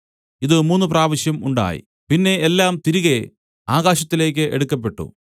ഇത് മൂന്നുപ്രാവശ്യം ഉണ്ടായി പിന്നെ എല്ലാം തിരികെ ആകാശത്തിലേക്ക് എടുക്കപ്പെട്ടു